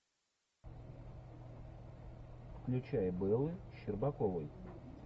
включай бэлы щербаковой